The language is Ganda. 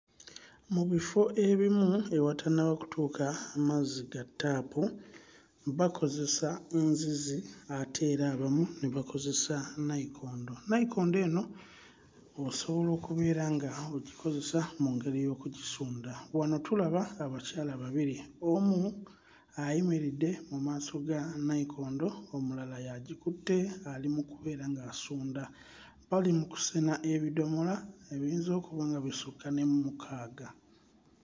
Mu bifo ebimu ewatannaba kutuuka mazzi ga ttaapu bakozesa nzizi ate era abamu ne bakozesa nayikondo. Nayikondo eno osobola okubeera ng'ogikozesa mu ngeri y'okugisunda. Wano tulaba abakyala babiri: omu ayimiridde mu maaso ga nayikondo, omulala y'agikutte ali mu kubeera ng'asunda. Bali mu kusena ebidomola ebiyinza okuba nga bisukka ne mu mukaaga.